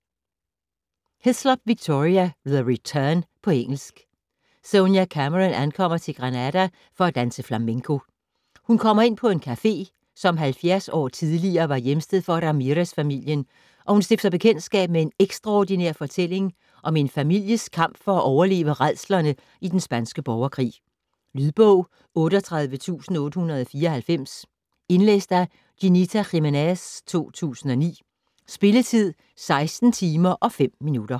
Hislop, Victoria: The return På engelsk. Sonia Cameron ankommer til Granada for at danse flamenco. Hun kommer ind på en café, som 70 år tidligere var hjemsted for Ramirez-familien, og hun stifter bekendtskab med en ekstraordinær fortælling om en families kamp for at overleve rædslerne i den spanske borgerkrig. Lydbog 38894 Indlæst af Ginita Jimenez, 2009. Spilletid: 16 timer, 5 minutter.